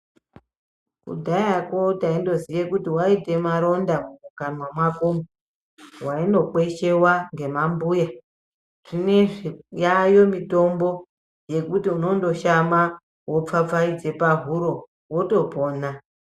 Kudhayako taindoziye kuti waite maronda mumukanwa mwakomwo, wainokweshewa ngemambuya. Zvinezvi yaayo mitombo yekuti unondoshama wopfapfaidze pahuro wotopona.